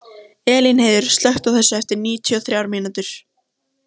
Elínheiður, slökktu á þessu eftir níutíu og þrjár mínútur.